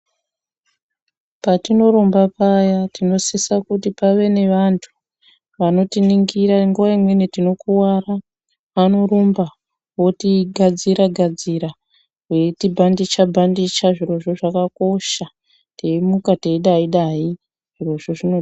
Patinorumba paya tinosisa kuti pave nevantu , vanotiningira nguva imweni tinokuwara, vanorumba, votigadzira-gadzira veitibhandija-bhandija, zvirozvo zvakakosha, teimuka teidai-dai, zvirozvo zvinodiwa.